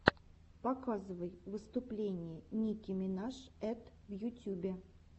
показывай выступление ники минаж эт в ютюбе